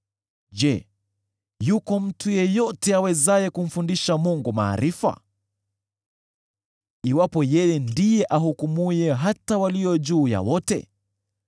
“Je, yuko mtu yeyote awezaye kumfundisha Mungu maarifa, iwapo yeye ndiye ahukumuye hata walio juu ya wote?